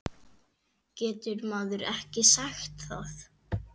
Getur maður ekki sagt það?